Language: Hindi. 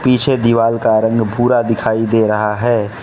पीछे दीवाल का रंग भूरा दिखाई दे रहा है।